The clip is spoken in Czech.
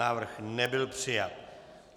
Návrh nebyl přijat.